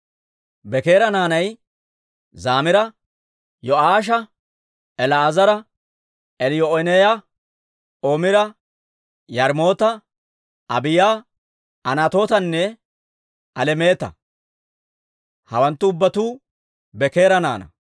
Bekeera naanay Zamiira, Yo'aasha, El"eezera, Eliyoo'enaaya, Omira, Yaarimoota, Abiiya, Anatootanne Alemeeta; hawanttu ubbatuu Bekeera naanaa.